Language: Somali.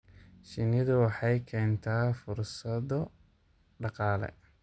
Shinnidu waxay keentaa fursado dhaqaale.